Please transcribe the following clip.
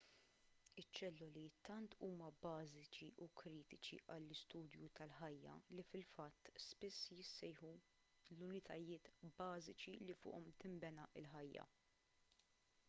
iċ-ċelloli tant huma bażiċi u kritiċi għall-istudju tal-ħajja li fil-fatt spiss jissejħu l-unitajiet bażiċi li fuqhom tinbena l-ħajja